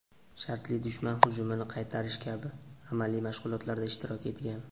shartli dushman hujumini qaytarish kabi amaliy mashg‘ulotlarda ishtirok etgan.